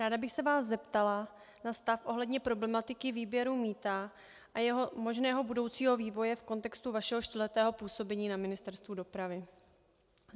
Ráda bych se vás zeptala na stav ohledně problematiky výběru mýta a jeho možného budoucího vývoje v kontextu vašeho čtyřletého působení na Ministerstvu dopravy.